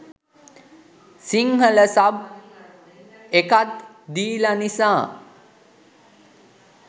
Sinhala sub එකත් දීලා නිසා